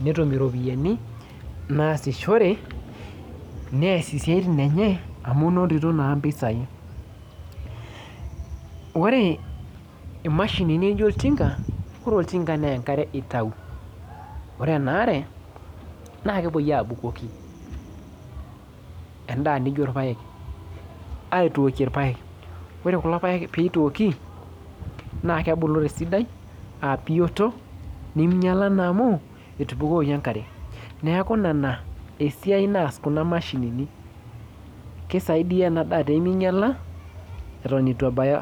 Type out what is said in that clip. netum iropiyiani naasishore nees isiaitin enye amu inotito naa impisai ore imashinini nijio oltinka ore oltinka nenkare itai ore ena are naa kepuoi abukoki endaa nijio irpayek ore kulo payek peitooki naa kebulu tesidai abiyioto neminyiala naa amu etubukoki enkare neku ina esiai naas kuna mashinini kisaidia ena daa teminyiala eton itu ebaya.